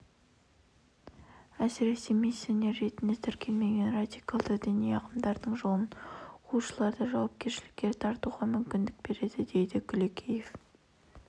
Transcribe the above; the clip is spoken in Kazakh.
әсіресе миссионер ретінде тіркелмеген радикалды діни ағымдардың жолын қуушыларды жауапкершілікке тартуға мүмкіндік береді дейді күлекеев